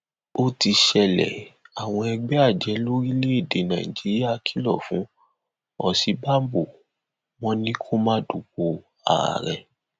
ó ti ṣẹlẹ àwọn ẹgbẹ ajé lórílẹèdè nàíjíríà kìlọ fún òsínbàbò wọn ni kó má dupò ààrẹ